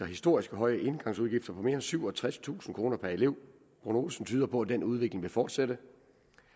historisk høje engangsudgifter på mere end syvogtredstusind kroner per elev prognosen tyder på at den udvikling vil fortsætte